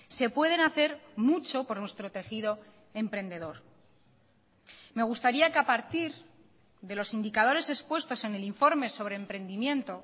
se pueden hacer mucho por nuestro tejido emprendedor me gustaría que a partir de los indicadores expuestos en el informe sobre emprendimiento